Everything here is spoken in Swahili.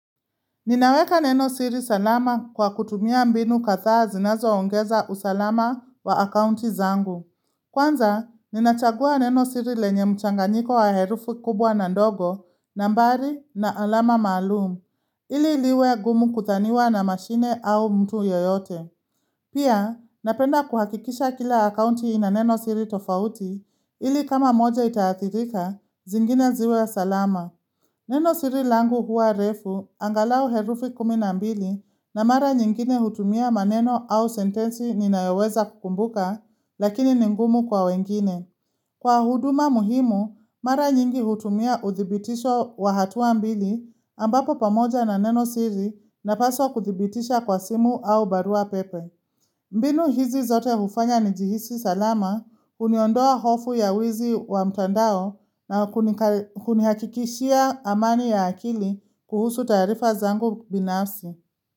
Ninaweka nenosiri salama kwa kutumia mbinu kadhaa zinazoongeza usalama wa akounti zangu. Kwanza, ninachagua nenosiri lenye mchanganyiko wa herufu kubwa na ndogo, nambari na alama maalumu, ili liwe gumu kudhaniwa na mashine au mtu yoyote. Pia, napenda kuhakikisha kila akounti na nenosiri tofauti, ili kama moja itaathirika, zingine ziwe salama. Nenosiri langu huwa refu, angalau herufi kumi na mbili na mara nyingine hutumia maneno au sentensi ninayoweza kukumbuka, lakini ningumu kwa wengine. Kwa huduma muhimu, mara nyingi hutumia udhibitisho wa hatua ambili ambapo pamoja na nenosiri na paso kuthibitisha kwa simu au barua pepe. Mbinu hizi zote bufanya ni jihisi salama uniondoa hofu ya wizi wa mtandao na kunihakikishia amani ya akili kuhusu taarifa zangu binafsi.